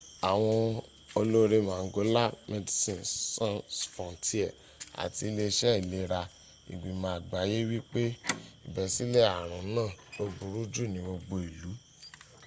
àwọn ọlọ́re mangola medicien sans frontieres àti ile iṣe ìlera ìgbìmọ̀ àgbáyé wípé ìbẹ́sílẹ̀ àrùn naa lo buru jù ní gbogbo ìlú